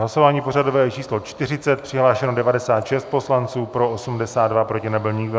Hlasování pořadové číslo 40, přihlášeno 96 poslanců, pro 82, proti nebyl nikdo.